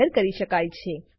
જાહેર કરી શકાય છે